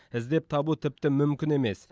іздеп табу тіпті мүмкін емес